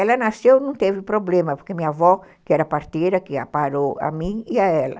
Ela nasceu, não teve problema, porque minha avó, que era parteira, que a parou a mim e a ela.